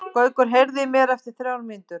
Gaukur, heyrðu í mér eftir þrjár mínútur.